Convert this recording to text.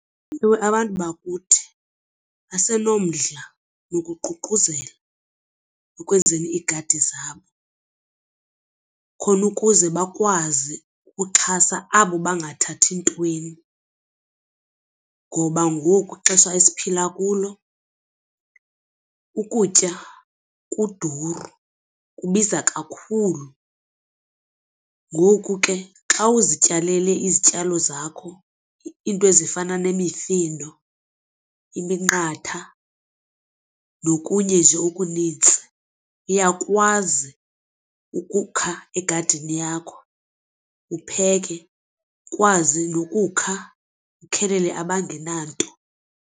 Ewe, abantu bakuthi basenomdla wokuququzela ekwenzeni iigadi zabo khona ukuze bakwazi ukuxhasa abo bangathathi ntweni ngoba ngoku ixesha esiphila kulo ukutya kuduru kubiza kakhulu. Ngoku ke xa uzityalele izityalo zakho iinto ezifana nemifino iminqatha nokunye nje okunintsi uyakwazi ukukha egadini yakho upheke ukwazi nokukha ukhelele abangenanto.